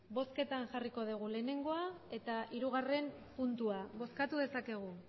bozketan jarriko dugu batgarrena eta hirugarrena puntua bozkatu dezakegu